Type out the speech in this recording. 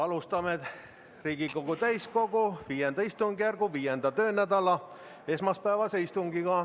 Alustame Riigikogu täiskogu V istungjärgu 5. töönädala esmaspäevast istungit.